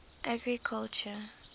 agriculture